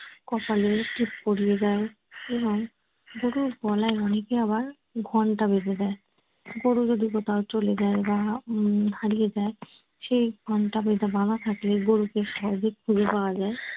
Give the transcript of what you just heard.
কপালে টিপ পড়িয়ে দেয়। এবং গরুর গলায় অনেকে আবার ঘন্টা বেঁধে দেয়। গরু যদি কোথাও চলে যায় বা উম হারিয়ে যায় সেই ঘন্টা যদি বাঁধা থাকে গরুকে সহজে খুঁজে পাওয়া যায়।